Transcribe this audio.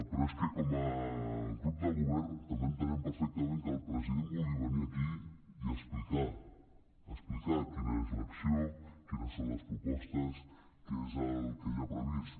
però és que com a grup de govern també entenem perfectament que el president vulgui venir aquí i explicar explicar quina és l’acció quines són les propostes què és el que hi ha previst